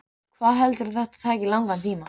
Hvað heldurðu að þetta taki langan tíma?